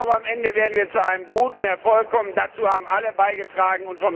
Am Ende werden wir zu einem guten Erfolg kommen, und dazu haben alle beigetragen.